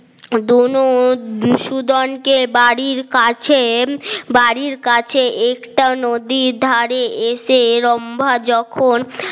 দুনো বিষোদন কে বাড়ির কাছে বাড়ির কাছে একটা নদীর ধারে এসে, রম্ভা যখন